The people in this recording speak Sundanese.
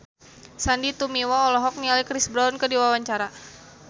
Sandy Tumiwa olohok ningali Chris Brown keur diwawancara